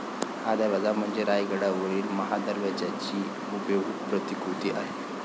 हा दरवाजा म्हणजे रायगडावरील महादरवाज्याची हुबेहूब प्रतिकृती आहे